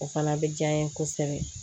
O fana bɛ diya n ye kosɛbɛ